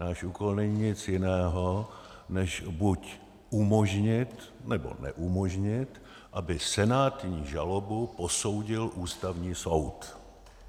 Náš úkol není nic jiného, než buď umožnit, nebo neumožnit, aby senátní žalobu posoudil Ústavní soud.